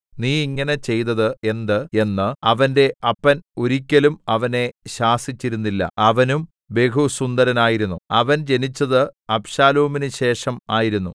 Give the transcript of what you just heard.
നീ ഇങ്ങനെ ചെയ്തത് എന്ത് എന്ന് അവന്റെ അപ്പൻ ഒരിക്കലും അവനെ ശാസിച്ചിരുന്നില്ല അവനും ബഹുസുന്ദരനായിരുന്നു അവൻ ജനിച്ചത് അബ്ശാലോമിനു ശേഷം ആയിരുന്നു